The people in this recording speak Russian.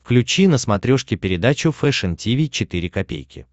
включи на смотрешке передачу фэшн ти ви четыре ка